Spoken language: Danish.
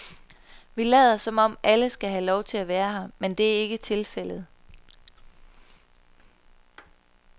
Vi lader som om alle skal have lov at være her, men det er ikke tilfældet.